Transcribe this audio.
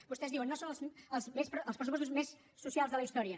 vostès diuen no són els pressupostos més socials de la història